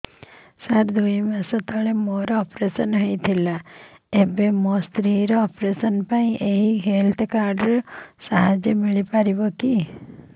ସାର ଦୁଇ ମାସ ତଳରେ ମୋର ଅପେରସନ ହୈ ଥିଲା ଏବେ ମୋ ସ୍ତ୍ରୀ ର ଅପେରସନ ପାଇଁ ଏହି ହେଲ୍ଥ କାର୍ଡ ର ସାହାଯ୍ୟ ମିଳିବ କି